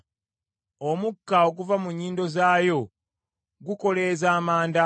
Omukka oguva mu nnyindo zaayo gukoleeza Amanda.